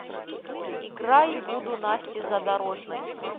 играй буду насти задорожной